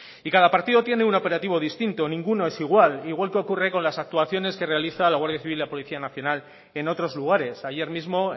y cada partido tiene un operativo distinto ningún es igual igual que ocurre con las actuaciones que realiza la guardia civil la policía nacional en otros lugares ayer mismo